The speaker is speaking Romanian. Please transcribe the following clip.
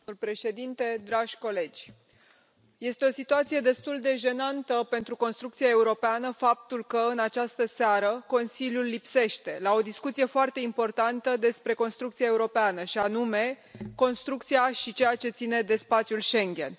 Domnule președinte, dragi colegi, este o situație destul de jenantă pentru construcția europeană faptul că, în această seară, Consiliul lipsește la o discuție foarte importantă despre construcția europeană, și anume construcția și ceea ce ține de spațiul Schengen.